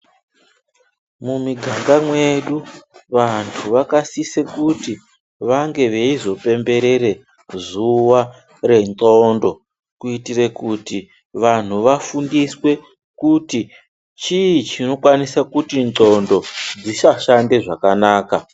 Mumiganga mwedu vantu vanosise kuti vange veizopemberere zuwa rendxondo kuitire kuti vantu vafundiswe kuti chii chinokwanise kuti ndxondo dzisashande zvakanaka.